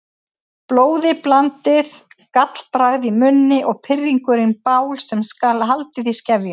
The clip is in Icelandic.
Blóðiblandið gallbragð í munni og pirringurinn bál sem skal haldið í skefjum.